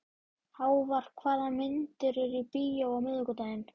Hávar, hvaða myndir eru í bíó á miðvikudaginn?